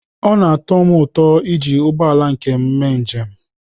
Ọ na-atọ m ụtọ iji ụgbọ ala nke m mee njem.